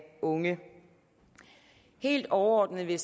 unge helt overordnet vil